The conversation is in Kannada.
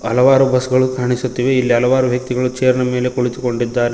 ಹಲವಾರು ಬಸ್ ಗಳು ಕಾಣಿಸುತ್ತಿವೆ ಇಲ್ಲಿ ಹಲವಾರು ವ್ಯಕ್ತಿಗಳು ಚೇರ್ ನ ಮೇಲೆ ಕುಳಿತುಕೊಂಡಿದ್ದಾರೆ.